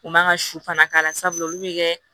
U man ka su fana k'a la sabula olu bɛ kɛ